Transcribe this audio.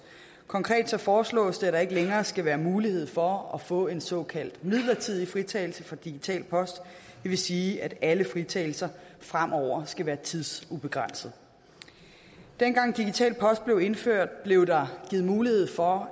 konkret foreslås det at der ikke længere skal være mulighed for at få en såkaldt midlertidig fritagelse for digital post det vil sige at alle fritagelser fremover skal være tidsubegrænsede dengang digital post blev indført blev der givet mulighed for